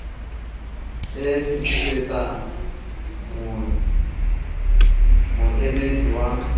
e e fitisetsa moemeding wa